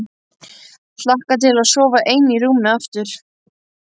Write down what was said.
Hlakka til að sofa ein í rúmi aftur.